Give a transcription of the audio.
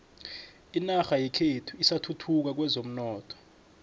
inorha yekhethu isathuthuka kwezomnotho